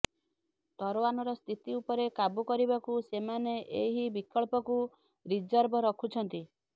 ତାଇୱାନର ସ୍ଥିତି ଉପରେ କାବୁ କାରିବାକୁ ସେମାନେ ଏହି ବିକଳ୍ପକୁ ରିଜର୍ଭ ରଖୁଛନ୍ତି